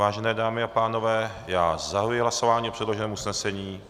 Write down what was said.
Vážené dámy a pánové, já zahajuji hlasování o předloženém usnesení.